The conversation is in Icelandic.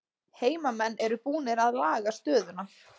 Heimamenn eru búnir að laga stöðuna